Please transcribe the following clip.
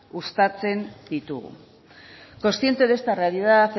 uztatzen ditugu consciente de esta realidad